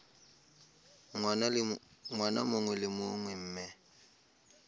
ngwaga mongwe le mongwe mme